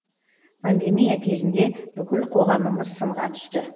пандемия кезінде бүкіл қоғамымыз сынға түсті